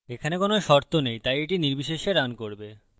এখানে কোনো শর্ত নেই তাই এটি নির্বিশেষে রান করবে